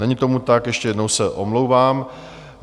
Není tomu tak, ještě jednou se omlouvám.